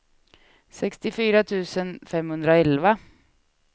sextiofyra tusen femhundraelva